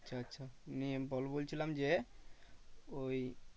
আচ্ছা আচ্ছা নিয়ে বল বলেছিলাম যে ওই